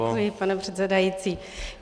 Děkuji, pane předsedající.